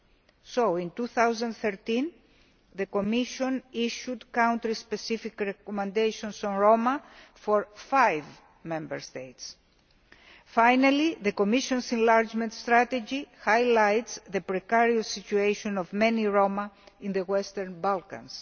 Hence, in 2013, the Commission issued country specific recommendations on the Roma to five Member States. Finally, the Commission's enlargement strategy highlights the precarious situation of many Roma in the Western Balkans.